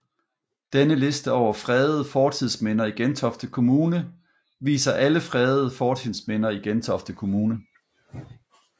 Denne liste over fredede fortidsminder i Gentofte Kommune viser alle fredede fortidsminder i Gentofte Kommune